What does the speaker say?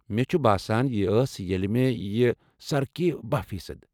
مےٚ چھُ باسان یہِ ٲس ییٚلہِ مےٚ یہِ سرٕ كٕر بہہَ فی صد